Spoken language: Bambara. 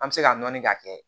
An bɛ se ka nɔni ka kɛ